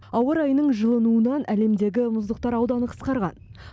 ауа райының жылынуынан әлемдегі мұздықтар ауданы қысқарған